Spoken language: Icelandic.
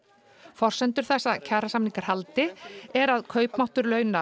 forsendur þess að kjarasamningar haldi er að kaupmáttur launa